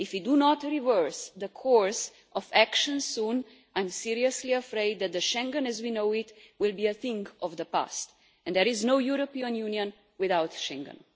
If you do not to reverse the course of action soon, I am seriously afraid that Schengen as we know it will be a thing of the past, and there is no European Union without Schengen.